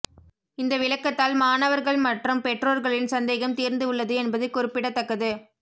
இந்த விளக்கத்தால் மாணவர்கள் மற்றும் பெற்றோர்களின் சந்தேகம் தீர்ந்து உள்ளது என்பது குறிப்பிடத்தக்கது